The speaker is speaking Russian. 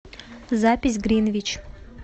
запись гринвич